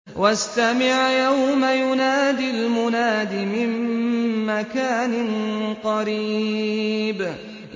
وَاسْتَمِعْ يَوْمَ يُنَادِ الْمُنَادِ مِن مَّكَانٍ قَرِيبٍ